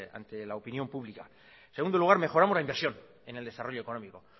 ante la opinión pública en segundo lugar mejoramos la inversión en el desarrollo económico